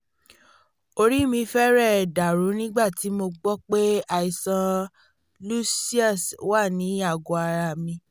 orí mi fẹ́rẹ̀ dàrú nígbà tí mo gbọ́ pé àìsàn lucius wà ní àgọ́ ara mi